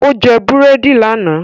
Ó jẹ búrẹ́dì lánàá